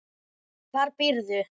Hvar býrðu?